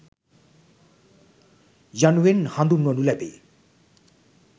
යනුවෙන් හඳුන්වනු ලැබේ.